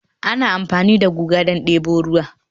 ana amfani da guga don debo ruwa